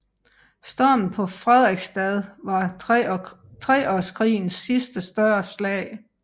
Stormen på Frederiksstad var Treårskrigens sidste større slag